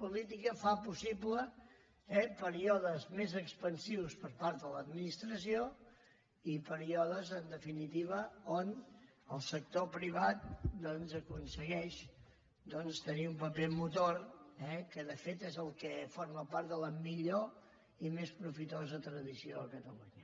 política fa possibles eh períodes més expansius per part de l’administració i períodes en definitiva on el sector privat doncs aconsegueix tenir un paper motor que de fet és el que forma part de la millor i més profitosa tradició a catalunya